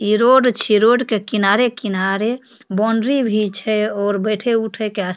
इ रोड छीये रोड के किनारे-किनारे बाउंड्री भी छै और बैठे उठे के आस --